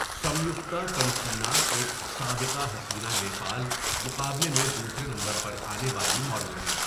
سمیکْتا تمسینا ایک سابقہ حسینہ نیپال مقابلے میں دوسرے نمبر پر آنے والی ماڈل ہیں.